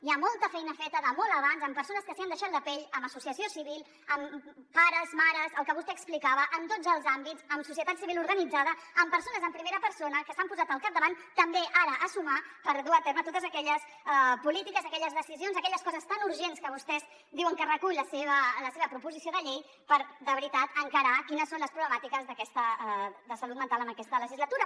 hi ha molta feina feta de molt abans amb persones que s’hi han deixat la pell amb associació civil amb pares mares el que vostè explicava en tots els àmbits amb societat civil organitzada amb persones en primera persona que s’han posat al capdavant també ara a sumar per dur a terme totes aquelles polítiques aquelles decisions aquelles coses tan urgents que vostès diuen que recull la seva proposició de llei per de veritat encarar quines són les problemàtiques de salut mental en aquesta legislatura